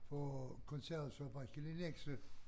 For konservesfabrikken i Nexø